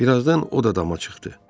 Bir azdan o da dama çıxdı.